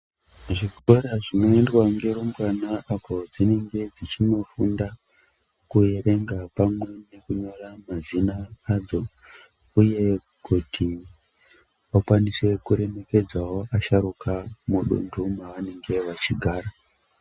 Zvikora zvinoendwa ngerumbwana apo dzinenge dzichinofunda kuerenga pamwe nekunyora mazina adzo uye kuti vakwanise kuremekedzawo asharuka mudundu mavanenge vachigara.